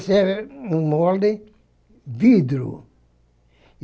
Esse é um molde de vidro.